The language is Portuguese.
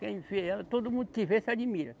Quem vê ela, todo mundo que vê se admira.